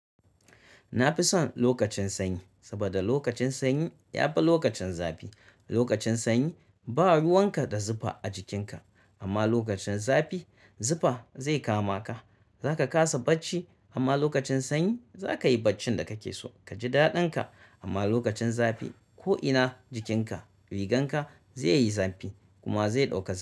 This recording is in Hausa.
Na fi son lokacin sanyi saboda lokacin sanyi ya fi lokacin zafi. Lokacin sanyi ba ruwan ka da zufa a jikinka amma lokacin zafi zufa zai kama ka. Zaka kaa bacci amma lokacin sanyi zakayi baccin da kake so. Ka ji daɗin ka amma lokacin zafi ko'ina jikinka, rigan ka zai yi zafi kuma zai ɗauke zafi.